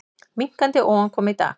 Minnkandi ofankoma í dag